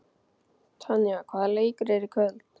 Tanja, hvaða leikir eru í kvöld?